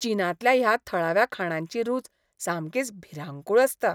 चीनांतल्या ह्या थळाव्या खाणांची रूच सामकीच भिरांकूळ आसता.